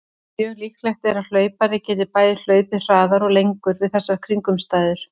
Mjög líklegt er að hlaupari geti bæði hlaupið hraðar og lengur við þessar kringumstæður.